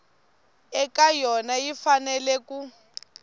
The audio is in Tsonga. eka yona yi fanele ku